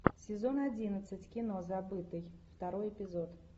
сезон одиннадцать кино забытый второй эпизод